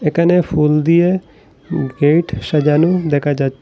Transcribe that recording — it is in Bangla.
একানে ফুল দিয়ে উম গেট সাজানো দেখা যা--